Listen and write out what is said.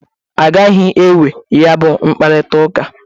Aghagị enwe ya bụ mkparịtaụka.